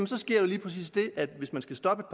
sker der lige præcis det hvis man skal stoppe